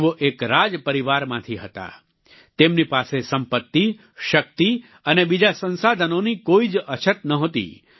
તેઓ એક રાજપરિવારમાંથી હતા તેમની પાસે સંપત્તિ શક્તિ અને બીજા સંસાધનનોની કોઈ જ અછત નહોતી